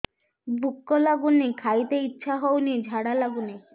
ଭୁକ ଲାଗୁନି ଖାଇତେ ଇଛା ହଉନି ଝାଡ଼ା ଲାଗୁନି